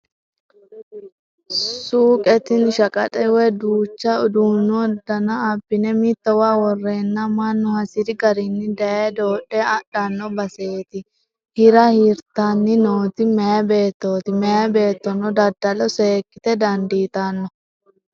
Suqe tini shaqaxe woyi duucha uduunu dana abbine mittowa worenna mannu hasiri garinni daye dodhe adhano baseti hira hirtanni nooti meyi beettoti, meya beettono daddalo seekkite dandiittano.